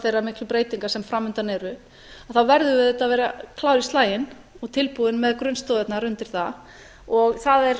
þeirra miklu breytinga sem fram undan eru verðum við auðvitað að vera klár í slaginn og tilbúin með grunnstoðirnar undir það og það er